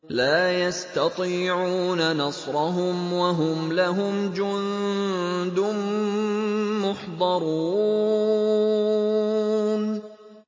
لَا يَسْتَطِيعُونَ نَصْرَهُمْ وَهُمْ لَهُمْ جُندٌ مُّحْضَرُونَ